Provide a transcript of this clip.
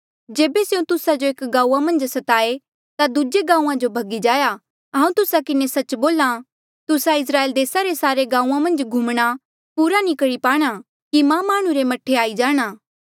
जेबे स्यों तुस्सा जो एक गांऊँआं मन्झ स्ताए ता दूजे गांऊँआं जो भगी जाया हांऊँ तुस्सा किन्हें सच्च बोल्हा तुस्सा इस्राएल देसा रे सारे गांऊँआं मन्झ घूमणा पूरा नी करी पाणा कि मां माह्णुं रे मह्ठे आई जाणा